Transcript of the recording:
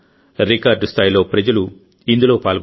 record స్థాయిలో ప్రజలు ఇందులో పాల్గొన్నారు